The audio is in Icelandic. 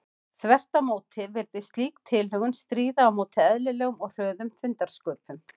Þvert á móti virðist slík tilhögun stríða á móti eðlilegum og hröðum fundarsköpum.